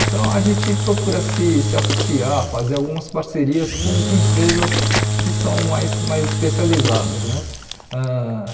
Então, a gente procura se se associar, fazer algumas parcerias com empresas que são mais mais especializadas né ãh.